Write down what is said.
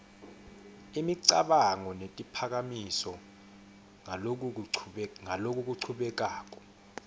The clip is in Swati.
imicabango netiphakamiso ngalokuchubekako